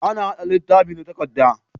Ana haɗa littafi da takadda